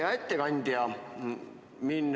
Hea ettekandja!